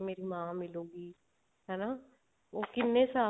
ਮੇਰੀ ਮਾਂ ਮਿਲੂਗੀ ਹਨਾ ਉਹ ਕਿੰਨੇ ਸਾਲ